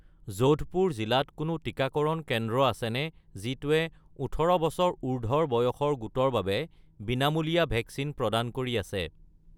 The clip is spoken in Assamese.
যোধপুৰ জিলাত কোনো টিকাকৰণ কেন্দ্ৰ আছেনে যিটোৱে ১৮ বছৰ উৰ্ধ্বৰ বয়সৰ গোটৰ বাবে বিনামূলীয়া ভেকচিন প্ৰদান কৰি আছে?